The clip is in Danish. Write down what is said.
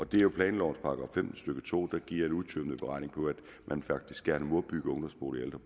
det er jo planlovens § femten stykke to der giver en udtømmende beregning på at man faktisk gerne må bygge ungdomsboliger og